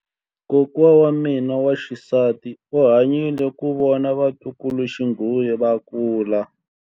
Kokwa wa mina wa xisati u hanyile ku vona vatukuluxinghuwe va kula.